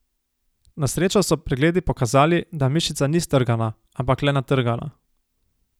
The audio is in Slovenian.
Na srečo so pregledi pokazali, da mišica ni strgana, ampak le natrgana.